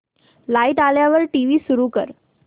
light आल्यावर TV सुरू कर